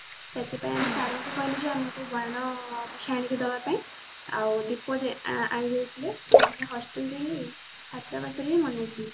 ସେଥିପାଇଁ ଆମେ sir ଙ୍କୁ କହିଲୁ ଯେ ଆମକୁ ବାଣ କିଛି ଆଣିକି ଦବା ପାଇଁ ଆଉ ଦୀପ ଦେ ଆଣିଦେଇଥିଲେ ତ ଆମେ hostel ଯାଇକି ଛାତ୍ରାବାସରେ ହିଁ ମନେଇଥିଲୁ